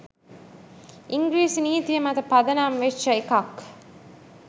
ඉංග්‍රීසි නීතිය මත පදනම් වෙච්ච එකක්